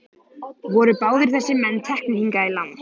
Voru báðir þessir menn teknir hingað í land.